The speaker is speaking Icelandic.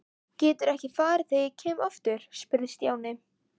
Geturðu ekki farið þegar ég kem aftur? spurði Stjáni.